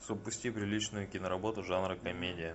запусти приличную киноработу жанра комедия